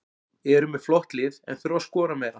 Eru með flott lið en þurfa að skora meira.